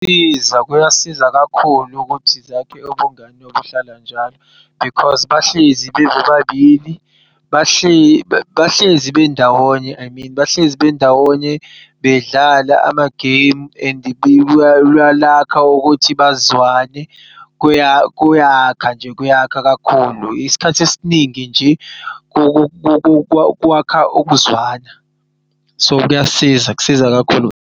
Kuyasiza kakhulu ukuthi zakhe ubungani obuhlala njalo because bahlezi bebobabili, bahlezi bendawonye emini bahlezi bendawonye bedlala ama-game and kuyakha ukuthi bazwane. Kuyakha nje kuyakha kakhulu isikhathi esiningi nje kwakha ukuzwana. So kuyasiza, kusiza kakhulu.